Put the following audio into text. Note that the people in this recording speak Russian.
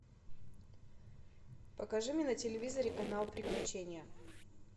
покажи мне на телевизоре канал приключения